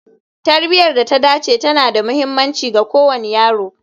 Tarbiyar da ta dace tana da mahimmanci ga kowane yaro